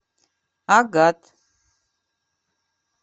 агат